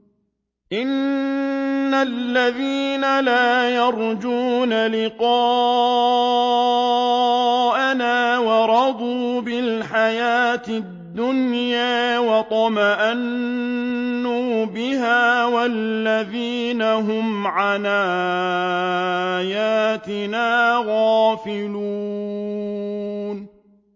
إِنَّ الَّذِينَ لَا يَرْجُونَ لِقَاءَنَا وَرَضُوا بِالْحَيَاةِ الدُّنْيَا وَاطْمَأَنُّوا بِهَا وَالَّذِينَ هُمْ عَنْ آيَاتِنَا غَافِلُونَ